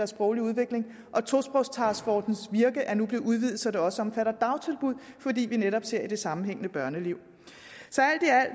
sproglige udvikling og tosprogstaskforcens virke er nu blevet udvidet så det også omfatter dagtilbud fordi vi netop ser på det sammenhængende børneliv